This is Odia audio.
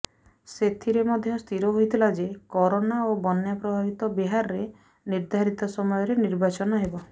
ସେଥିରେ ମଧ୍ୟ ସ୍ଥିର ହୋଇଥିଲା ଯେ କରୋନା ଓ ବନ୍ୟା ପ୍ରଭାବିତ ବିହାରରେ ନିର୍ଦ୍ଧାରିତ ସମୟରେ ନିର୍ବାଚନ ହେବ